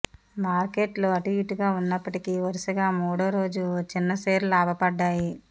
మార్కెట్లు అటూఇటుగా ఉన్నప్పటికీ వరుసగా మూడో రోజు చిన్న షేర్లు లాభపడ్డాయి